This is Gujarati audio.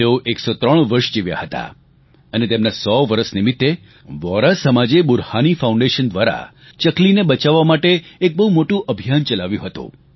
તેઓ 103 વરસ જીવ્યા હતા અને તેમના સો વરસ નિમિત્તે વોહરા સમાજે બુરહાની ફાઉન્ડેશન દ્વારા ચકલીને બચાવવા માટે એક બહુ મોટું અભિયાન ચલાવ્યું હતું